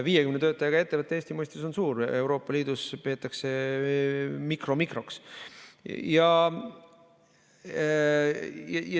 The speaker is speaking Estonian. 50 töötajaga ettevõte Eesti mõistes on suur, Euroopa Liidus peetakse seda mikromikroks.